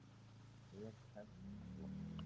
Vel kæst og flott.